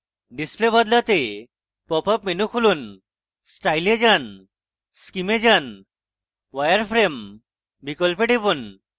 display বদলাতে popup menu খুলুন style এ যান scheme এ যান wireframe বিকল্পে টিপুন